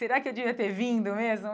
Será que eu devia ter vindo mesmo?